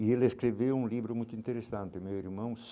E ele escreveu um livro muito interessante, meu irmão.